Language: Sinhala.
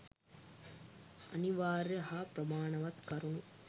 අනිවාර්ය හා ප්‍රමාණවත් කරුණු